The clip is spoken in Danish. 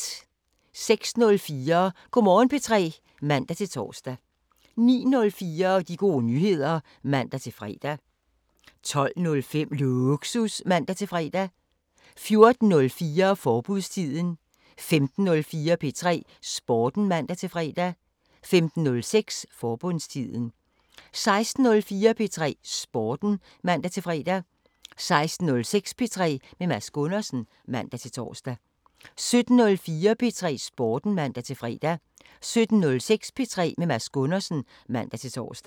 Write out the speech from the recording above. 06:04: Go' Morgen P3 (man-tor) 09:04: De Gode Nyheder (man-fre) 12:05: Lågsus (man-fre) 14:04: Forbudstiden 15:04: P3 Sporten (man-fre) 15:06: Forbudstiden 16:04: P3 Sporten (man-fre) 16:06: P3 med Mads Gundersen (man-tor) 17:04: P3 Sporten (man-fre) 17:06: P3 med Mads Gundersen (man-tor)